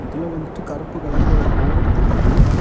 இதுல வந்துட்டு கருப்பு கலர்ல ஒரு போர்டு தெரியுது.